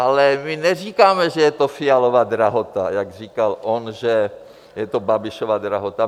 Ale my neříkáme, že je to Fialova drahota, jako říkal on, že je to Babišova drahota.